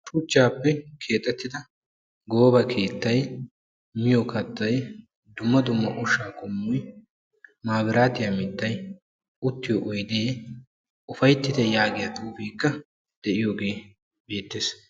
Shuchchappe keexettidda gooba keettay miyo kattay ubbakka ufayttite yaagiya xuufe beetees.